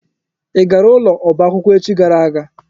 Ị gara ụlọ ọba akwụkwọ echi gara aga?